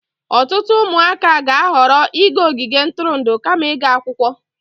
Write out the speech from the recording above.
Ọtụtụ ụmụaka ga-ahọrọ ịga ogige ntụrụndụ kama ịga akwụkwọ.